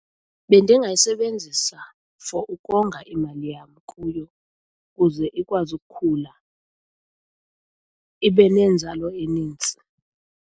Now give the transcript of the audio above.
Bendingayisebenzisa for ukonga imali yam kuyo ukuze ikwazi ukukhula ibe nenzalo eninzi.